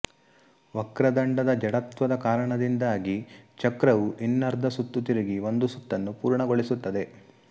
ವಕ್ರದಂಡದ ಜಡತ್ವದ ಕಾರಣದಿಂದಾಗಿ ಚಕ್ರವು ಇನ್ನರ್ಧ ಸುತ್ತು ತಿರುಗಿ ಒಂದು ಸುತ್ತನ್ನು ಪೂರ್ಣಗೊಳಿಸುತ್ತದೆ